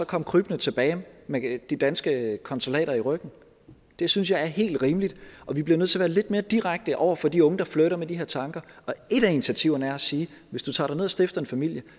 komme krybende tilbage med de danske konsulater i ryggen det synes jeg er helt rimeligt og vi bliver nødt til at være lidt mere direkte over for de unge der flirter med de her tanker og et af initiativerne er at sige at hvis du tager derned og stifter en familie